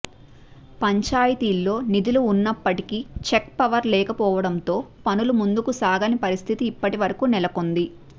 పంచాయతీల్లో నిధులు ఉన్నప్పటికీ చెక్ పవర్ లేకపోవడంతో పనులు ముందుకు సాగని పరిస్థితి ఇప్పటివరకూ నెలకొంది